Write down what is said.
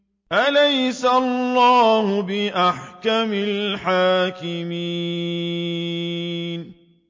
أَلَيْسَ اللَّهُ بِأَحْكَمِ الْحَاكِمِينَ